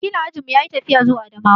Wakilin ajin mu yayi tafiya zuwa Adamawa.